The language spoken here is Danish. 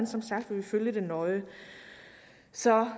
som sagt følge det nøje så